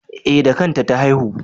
E, da kanta ta haihu.